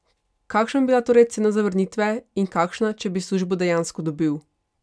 Kakšna bi bila torej cena zavrnitve in kakšna, če bi službo dejansko dobil?